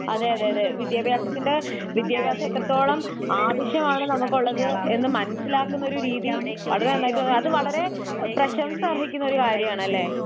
അതെയതെ അതെ വിദ്ത്യഭാസത്തിന്റെ വിദ്ത്യഭ്യസം എത്രത്തോളം ആവശ്യമാണ് നമുക്കുള്ളതെന്ന് മനസിലാക്കുന്ന ഒരു രീതി വളരെ നന്നായിട്ടു അത് വളരെ പ്രശംസ അർഹിക്കുന്ന ഒരു കാര്യമാണല്ലേ?